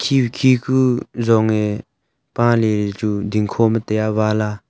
khe khe ku zong a pale chu dingkho ma taI a wall a.